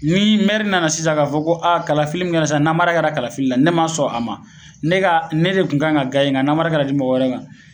Ni nana sisan ka fɔ ko aa kalafili min kɛra sisan namara kɛra kalafili la . Ne ma sɔn a ma , ne ka ne de kun kan ka , nga namara kɛra ka di mɔgɔ wɛrɛ ma